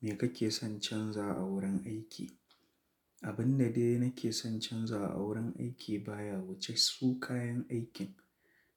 Me kake son canza a wurin aiki? Abin da dai nake son canzawa a wurin aiki baya wuce su kayan aikin,